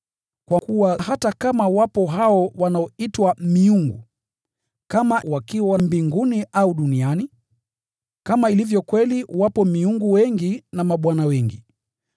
Kwa kuwa hata kama wapo hao wanaoitwa miungu, kama wakiwa mbinguni au duniani (kama ilivyo kweli wapo “miungu” wengi na “mabwana” wengi),